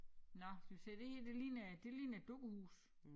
Nåh skal vi se det her det ligner det ligner et dukkehus